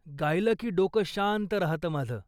गायलं की डोकं शांत राहतं माझं.